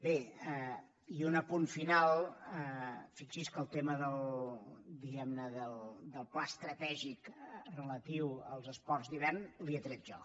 bé i un apunt final fixi’s que el tema diguem ne del pla estratègic relatiu als esports d’hivern li he tret jo